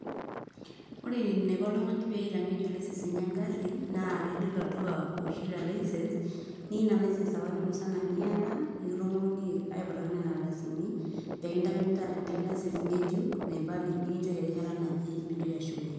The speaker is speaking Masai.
ore eneiko oltungani pee eitang'ejuk license enye egari naa ilo iloduka oshi le licence niya ina licence apake musana niyata, nikitumoki aiputaki nena ardasini, peee kintaikini taata enkae licence ngejuk naibalie nikinchori erishata naje pee intoki ashukunye.